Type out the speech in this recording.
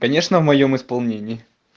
конечно в моём исполнении